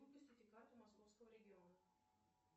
выпустите карту московского региона